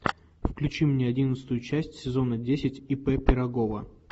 включи мне одиннадцатую часть сезона десять ип пирогова